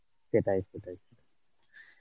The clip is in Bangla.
সেটাই, সেটাই.